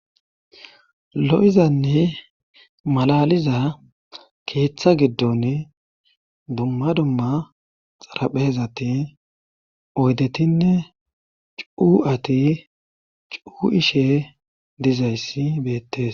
lo7izanne malaliza keeththa giddon dumma dumma xaraphehezati oydetinne cuu7ati cu ishe dizayssi beettes